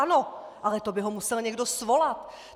Ano, ale to by ho musel někdo svolat.